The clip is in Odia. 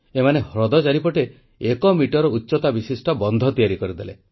ଏମାନେ ହ୍ରଦ ଚାରିପଟେ ଏକ ମିଟର ଉଚ୍ଚତା ବିଶିଷ୍ଟ ବନ୍ଧ ତିଆରି କରିଦେଲେ